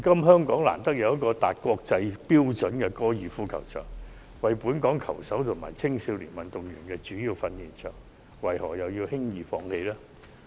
香港難得有個達國際標準的高爾夫球場，為本港球手和青少年運動員提供主要訓練場地，為何輕言放棄？